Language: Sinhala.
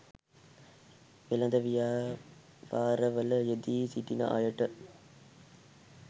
වෙළෙඳ ව්‍යාපාරවල යෙදී සිටින අයට